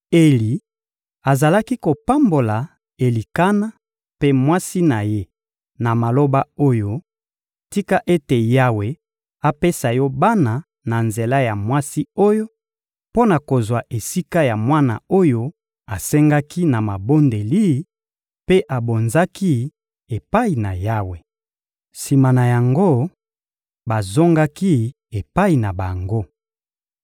Eli azalaki kopambola Elikana mpe mwasi na ye na maloba oyo: «Tika ete Yawe apesa yo bana na nzela ya mwasi oyo, mpo na kozwa esika ya mwana oyo asengaki na mabondeli mpe abonzaki epai na Yawe!» Sima na yango, bazongaki epai na bango.